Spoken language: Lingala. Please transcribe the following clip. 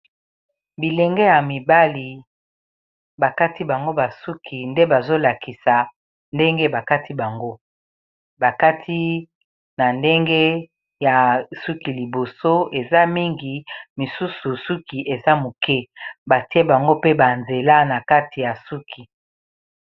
Bilenge mibali bakati bango ba suki, nde bazolakisa ndenge bakati bango, bakati na ndenge ya suki liboso eza mingi, misusu suki eza moke, batie bango pe ba nzela na kati ya suki.